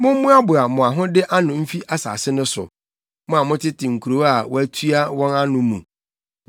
Mommoaboa mo ahode ano mfi asase no so, mo a motete nkurow a wɔatua wɔn ano mu.